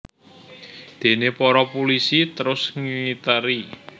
Déné para pulisi terus ngiteri